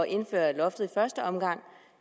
indføre loftet i første omgang